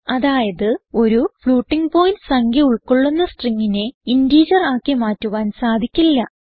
അതായത് ഒരു floating point സംഖ്യ ഉൾകൊള്ളുന്ന stringനെ ഇന്റിജർ ആക്കി മാറ്റുവാൻ സാധിക്കില്ല